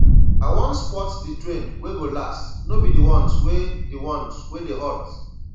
i wan spot di trend wey go last no be di ones wey di ones wey dey hot